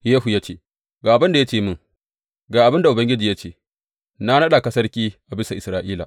Yehu ya ce, Ga abin da ya ce mini, Ga abin da Ubangiji ya ce, na naɗa ka sarki a bisa Isra’ila.’